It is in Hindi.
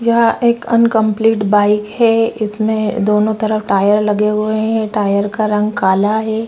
यहाँ एक अनकम्प्लीट बाइक है इसमें दोनों तरफ टायर लगे हुए है टायर का रंग काला है।